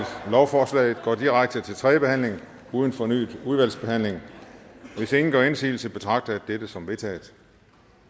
lovforslaget går direkte til tredje behandling uden fornyet udvalgsbehandling hvis ingen gør indsigelse betragter jeg dette som vedtaget